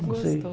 Não sei.